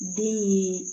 Den ye